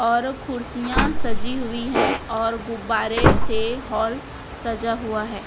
और कुर्सियां सजी हुई है और गुब्बारे से हॉल सजा हुआ है।